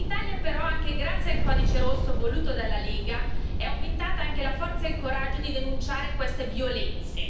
In Italia però, anche grazie al codice rosso voluto dalla Lega, è aumentata anche la forza e il coraggio di denunciare queste violenze.